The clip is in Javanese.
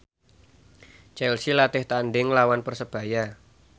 Chelsea latih tandhing nglawan Persebaya